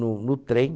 No no trem...